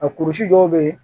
A kurusi dɔw bɛ yen